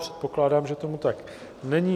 Předpokládám, že tomu tak není.